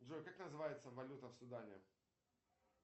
джой как называется валюта в судане